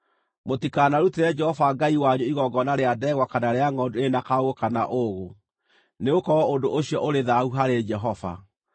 Mũtikanarutĩre Jehova Ngai wanyu igongona rĩa ndegwa kana rĩa ngʼondu ĩrĩ na kaũũgũ kana ũũgũ, nĩgũkorwo ũndũ ũcio ũrĩ thaahu harĩ Jehova.